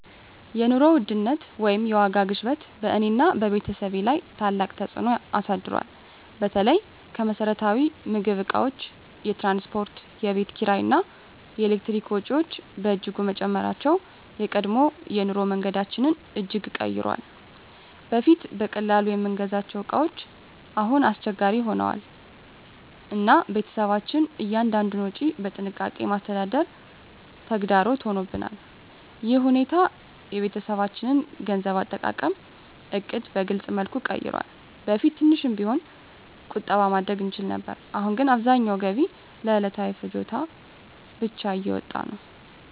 የኑሮ ውድነት ወይም የዋጋ ግሽበት በእኔና በቤተሰቤ ላይ ታላቅ ተፅዕኖ አሳድሯል። በተለይ የመሰረታዊ ምግብ እቃዎች፣ የትራንስፖርት፣ የቤት ኪራይ እና የኤሌክትሪክ ወጪዎች በእጅጉ መጨመራቸው የቀድሞ የኑሮ መንገዳችንን እጅግ ቀይሯል። በፊት በቀላሉ የምንገዛቸው እቃዎች አሁን አስቸጋሪ ሆነዋል፣ እና ቤተሰባችን እያንዳንዱን ወጪ በጥንቃቄ ማስተዳደር ተግዳሮት ሆኖብናል። ይህ ሁኔታ የቤተሰባችንን የገንዘብ አጠቃቀም ዕቅድ በግልፅ መልኩ ቀይሯል። በፊት ትንሽ ቢሆንም ቁጠባ ማድረግ እንችል ነበር፣ አሁን ግን አብዛኛው ገቢ ለዕለታዊ ፍላጎት ብቻ እየወጣ ነው።